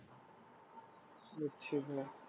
বুঝছি ভায়া।